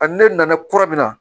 A ni ne nana kura min na